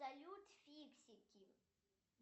салют фиксики